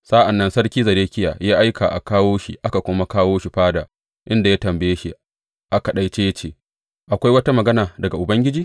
Sa’an nan Sarki Zedekiya ya aika a kawo shi aka kuma kawo shi fada, inda ya tambaye shi a kaɗaice ya ce, Akwai wata magana daga Ubangiji?